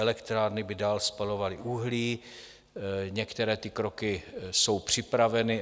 Elektrárny by dál spalovaly uhlí, některé ty kroky jsou připraveny.